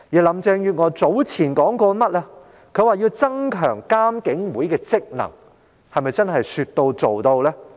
林鄭月娥早前表示要增強監警會的職能，她又是否真的能說到做到？